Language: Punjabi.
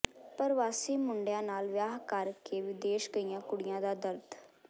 ਪਰਵਾਸੀ ਮੁੰਡਿਆਂ ਨਾਲ ਵਿਆਹ ਕਰ ਕੇ ਵਿਦੇਸ਼ ਗਈਆਂ ਕੁੜੀਆਂ ਦਾ ਦਰਦ